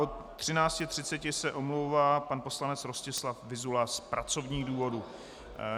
Od 13.30 se omlouvá pan poslanec Rostislav Vyzula z pracovních důvodů.